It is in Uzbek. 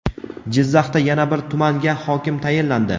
Jizzaxda yana bir tumanga hokim tayinlandi.